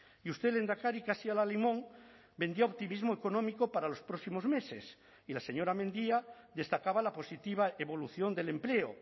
y usted lehendakari casi al alimón vendió optimismo económico para los próximos meses y la señora mendia destacaba la positiva evolución del empleo